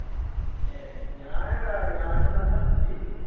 ഏർ ഞാനെടാ ഞാന് നമ്മുടെ അച്ചൂട്ടി ഇല്ലേ